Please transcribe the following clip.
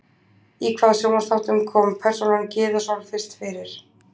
Í hvaða sjónvarpsþáttum kom persónan Gyða Sól fyrst fyrir?